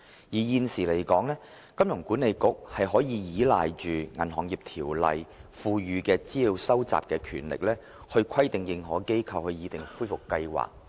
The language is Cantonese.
現時，香港金融管理局可依賴《銀行業條例》賦予的資料收集權力，以規定認可機構擬訂恢復計劃。